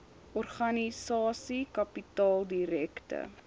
organisasie kapitaal direkte